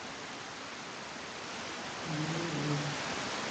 ниамей